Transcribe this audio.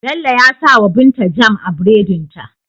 Bello ya sawa binta jam a buredin ta